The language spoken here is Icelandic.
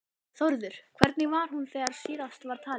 Þórður, hvernig var hún þegar síðast var talið?